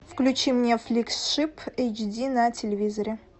включи мне фликс шип эйч ди на телевизоре